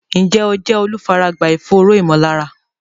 Ǹjẹ́ o jẹ́ olùfaragbá ìfòòró ìmọ̀lára?